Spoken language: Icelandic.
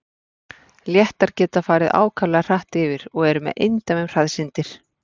léttar geta farið ákaflega hratt yfir og eru með eindæmum hraðsyndir